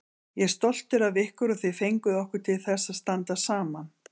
Ég er stoltur af ykkur og þið fenguð okkur til þess að standa saman.